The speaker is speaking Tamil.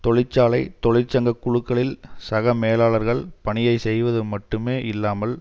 தொழிற்சாலை தொழிற்சங்க குழுக்களில் சக மேலாளர்கள் பணியை செய்வது மட்டுமே இல்லாமல்